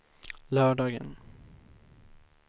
lördagen